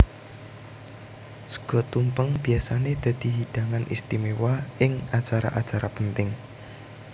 Sega tumpeng biyasané dadi hidangan istiméwa ing acara acara penting